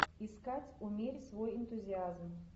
искать умерь свой энтузиазм